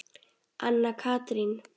Anna Katrín.